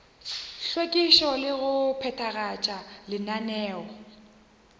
hlwekišo le go phethagatša lenaneo